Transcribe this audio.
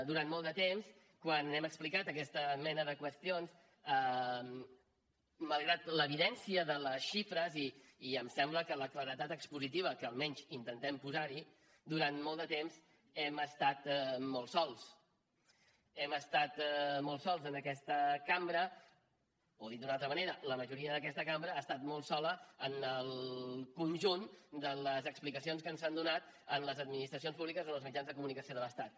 durant molt de temps quan hem explicat aquesta mena de qüestions malgrat l’evidència de les xifres i em sembla que la claredat expositiva que almenys intentem posarhi durant molt de temps hem estat molt sols hem estat molt sols en aquesta cambra o dit d’una altra manera la majoria d’aquesta cambra ha estat molt sola en el conjunt de les explicacions que ens han donat en les administracions públiques o en els mitjans de comunicació de l’estat